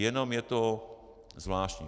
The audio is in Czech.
Jenom je to zvláštní.